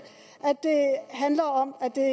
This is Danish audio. at det handler om at det er